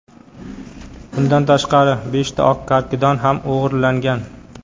Bundan tashqari, beshta oq karkidon ham o‘g‘irlangan.